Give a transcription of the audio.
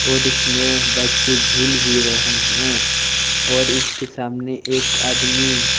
और इसमें बच्चे झूल भी रहे हैं और इसके सामने एक आदमी--